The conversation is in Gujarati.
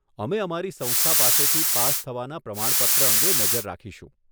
અમે અમારી સંસ્થા પાસેથી પાસ થવાના પ્રમાણપત્ર અંગે નજર રાખીશું.